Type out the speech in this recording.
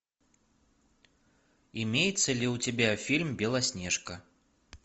имеется ли у тебя фильм белоснежка